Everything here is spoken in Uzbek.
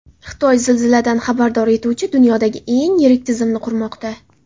Xitoy zilziladan xabardor etuvchi dunyodagi eng yirik tizimni qurmoqda.